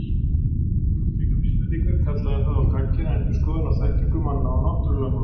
Kæmu fram slíkar vísbendingar kallaði það á gagngera endurskoðun á þekkingu manna á náttúrulögmálunum.